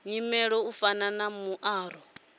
nyimele u fana na muaro